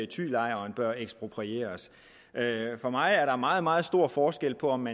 thylejren bør eksproprieres for mig er der meget meget stor forskel på om